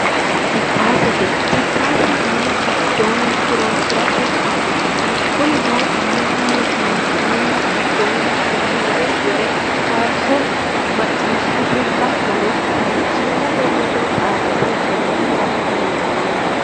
Jiphaazzete, jiphaaze mini gidoonni horonsirate kaa'litanno, konino manu mini gidooni mimore wore faarisho macciishate hattonno televishinete ledo xaadise horonsira dandaano